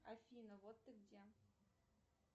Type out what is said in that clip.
афина вот ты где